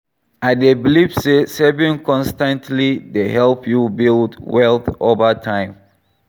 i dey believe say saving consis ten tly dey help you build wealth over time.